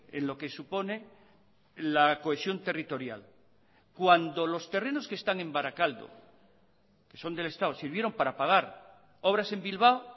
en lo que supone la cohesión territorial cuando los terrenos que están en barakaldo que son del estado sirvieron para pagar obras en bilbao